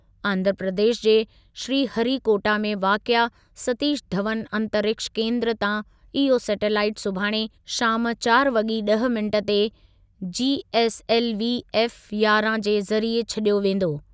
आंध्रप्रदेश जे श्रीहरिकोटा में वाक़िए सतीश धवन अंतरिक्ष केंद्र तां इहो सेटेलाइट सुभाणे शाम चारि वॻी ॾह मिनिट ते जीएसएलवी एफ यारहं जे ज़रिए छॾियो वेंदो।